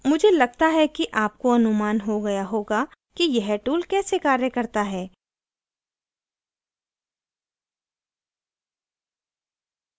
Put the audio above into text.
मुझे लगता है आपको अनुमान हो गया होगा कि यह tool कैसे कार्य करता है